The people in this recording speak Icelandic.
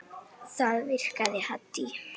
Það virkaði Haddý.